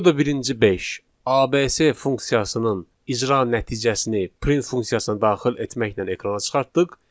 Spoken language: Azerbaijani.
Burada birinci 5 ABC funksiyasının icra nəticəsini print funksiyasına daxil etməklə ekrana çıxartdıq.